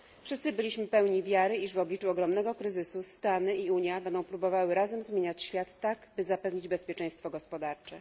Wszyscy byliśmy pełni wiary, że w obliczu ogromnego kryzysu Stany i Unia będą próbowały razem zmieniać świat tak, by zapewnić bezpieczeństwo gospodarcze.